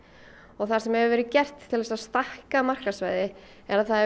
það sem hefur verið gert til þess að stækka markaðssvæðið er